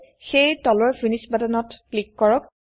সেয়ে তলৰ finish button ত ক্লিক কৰক